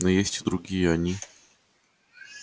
но есть и другие они